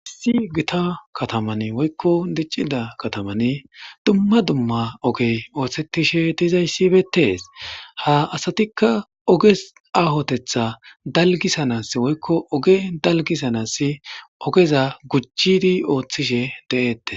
Issi gitta kataman woykon dicida katamani duma duma ogey othishe dizaysika betes ha asatika oge ahotetha dalgisanas woykon dalgisanas ogeza gujidi othishe de'etes